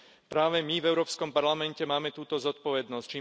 Práve my v Európskom parlamente máme túto zodpovednosť.